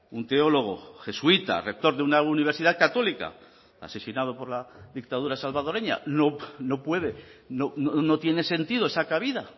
un teólogo jesuita rector de una universidad católica asesinado por la dictadura salvadoreña no puede no tiene sentido esa cabida